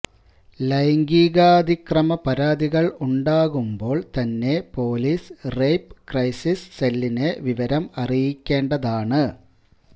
ലൈംഗികാതിക്രമ പരാതികൾ ഉണ്ടാകുമ്പോൾ തന്നെ പൊലീസ് റേപ്പ് ക്രൈസിസ് സെല്ലിനെ വിവരം അറിയിക്കേണ്ടതാണ്